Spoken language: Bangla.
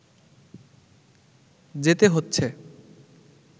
যেতে হচ্ছে